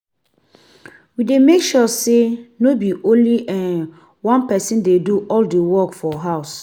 We dey make sure say no be only um one pesin dey do all the work for house.